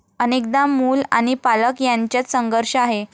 अनेकदा मूल आणि पालक यांच्यात संघर्ष आहे.